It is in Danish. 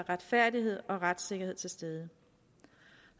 retfærdighed og retssikkerhed til stede